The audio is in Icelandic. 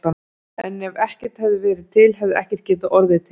En ef ekkert hefði verið til hefði ekkert getað orðið til.